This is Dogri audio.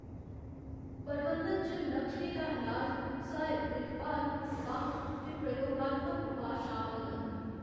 प्रबंधन च लक्षणें दा इलाज, सहायक दिक्खभाल, बक्ख ते प्रयोगात्मक उपाऽ शामल न।